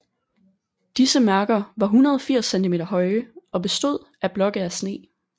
Disse mærker var 180 cm høje og bestod af blokke af sne